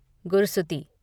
गुरसुती